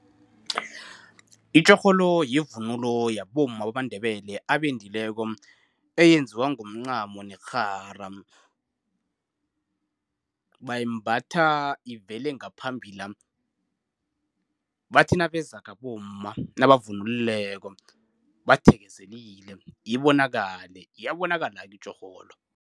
Itjorholo yivunulo yabomma bamaNdebele, abendileko. Eyenziwa ngomncamo nekghara. Bayimbatha ivele ngaphambila. Bathi nabezako abomma nabavunulileko, bathekezelile ibonakale. Iyabonakala-ke itjhorholo.